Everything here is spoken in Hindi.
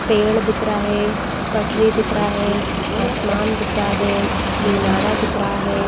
पेड़ दिखरा है पटरी दिखरा है आसमान दिखरा है मीनारा दिखरा है।